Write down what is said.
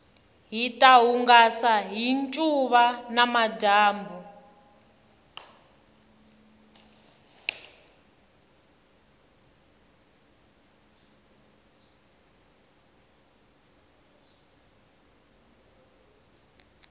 hita hungasa hi ncuva namadyambu